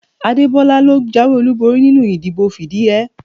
Adebola ló jáwé olúborí nínú ìdìbò fìdíhẹẹ́